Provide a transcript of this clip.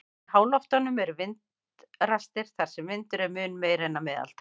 Í háloftunum eru vindrastir þar sem vindur er mun meiri en að meðaltali.